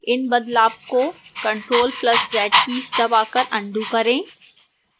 इस बदलाव को ctrl + z कीज़ दबाकर अन्डू करें